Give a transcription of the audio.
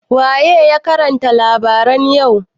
waye ya karanta labaran yau?